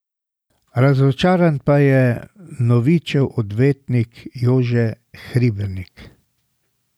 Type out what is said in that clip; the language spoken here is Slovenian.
Razočaran pa je Novičev odvetnik Jože Hribernik.